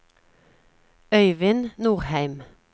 Øyvind Norheim